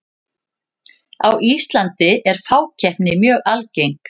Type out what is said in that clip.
á íslandi er fákeppni mjög algeng